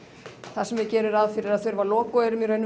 þar sem ég geri ráð fyrir að við þurfum að loka og erum í raun